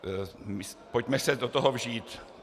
Pojďme se do toho vžít.